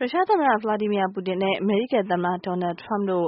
ရုရှားသမ္မတ Vladimir Putin နဲ့ အမေရိကန်သမ္မတ Donald Trump တို့